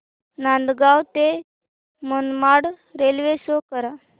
नांदगाव ते Manmad railway show करा